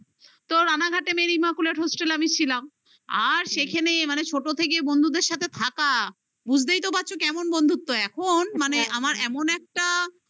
তো রানাঘাটে merry marchulet hostel -এ আমি ছিলাম আর সেখানে মানে ছোট থেকে বন্ধুদের সাথে থাকা বুঝতেই তো পারছ কেমন বন্ধুত্ব এখন মানে আমার এমন একটা